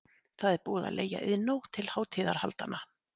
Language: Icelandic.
Það er búið að leigja Iðnó til hátíðahaldanna.